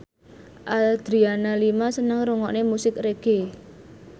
Adriana Lima seneng ngrungokne musik reggae